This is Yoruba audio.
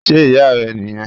Ṣe iya rẹ niyẹn?